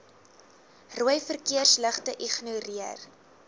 rooi verkeersligte ignoreer